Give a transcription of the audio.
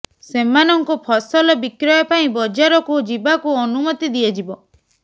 ସେମାନଙ୍କୁ ଫସଲ ବିକ୍ରୟ ପାଇଁ ବଜାରକୁ ଯିବାକୁ ଅନୁମତି ଦିଆଯିବ